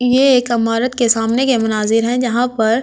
ये एक अमारत के सामने के मुनाजिर है जहां पर--